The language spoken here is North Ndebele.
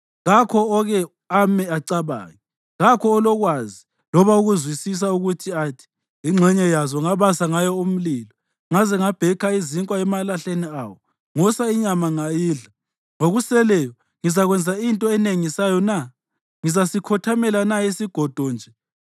Kakho oke ame acabange, kakho olokwazi loba ukuzwisisa ukuba athi, “Ingxenye yazo ngabasa ngayo umlilo; ngaze ngabhekha izinkwa emalahleni awo, ngosa inyama ngayidla. Ngokuseleyo ngizakwenza into enengisayo na? Ngizasikhothamela na isigodo nje?”